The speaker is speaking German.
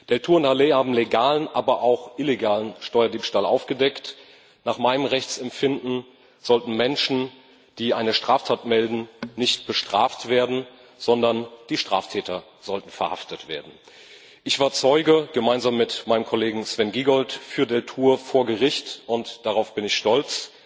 Deltour und Halet haben legalen, aber auch illegalen Steuerdiebstahl aufgedeckt. Nach meinem Rechtsempfinden sollten Menschen, die eine Straftat melden, nicht bestraft werden, sondern die Straftäter sollten verhaftet werden. Ich war gemeinsam mit meinem Kollegen Sven Giegold Zeuge für Deltour vor Gericht und darauf bin ich stolz.